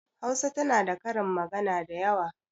Hausa tana da karin magana dayawa.